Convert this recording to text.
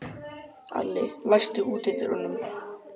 Alli, læstu útidyrunum.